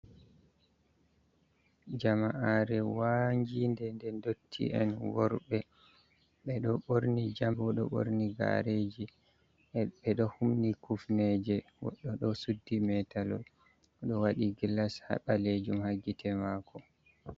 Jama'are wange nɗe nɗotti en worɓe, ɓeɗo ɓorni jam ɓedo ɓorni gareji, ɓeɗo hum ni kufneje goɗɗo do suddi metalol ɗo waɗi gilas ha ɓalejum ha gite mako.